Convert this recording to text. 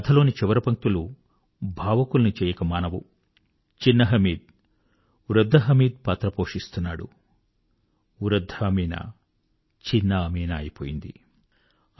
ఈ కథలోని చివరి పంక్తులు ఎంతో భావుకుల్ని చేయకమానవు చిన్న హామిద్ వృద్ధ హామిద్ పార్ట్ ఆడుతున్నాడు వృద్ధ అమీనా అమీనా చిన్న పాప అయిపోయింది